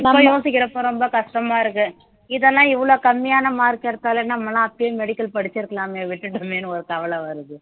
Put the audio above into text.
இப்ப யோசிக்கிறப்ப ரொம்ப கஷ்டமா இருக்கு இதெல்லாம் இவ்வளவு கம்மியான mark எடுத்தாலே நம்ம எல்லாம் அப்பயே medical படிச்சிருக்கலாமே விட்டுட்டோமேன்னு ஒரு கவலை வருது